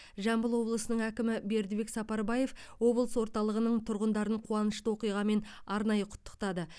жамбыл облысының әкімі бердібек сапарбаев облыс орталығының тұрғындарын қуанышты оқиғамен арнайы құттықтады